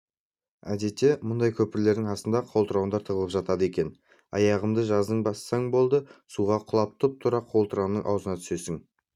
әдетте мұндай көпірлердің астында қолтырауындар тығылып жатады екен аяғыңды жазым бассаң болды суға құлап тұп-тура қолтырауынның аузына түсесің